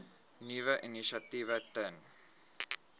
nuwe initiatiewe ten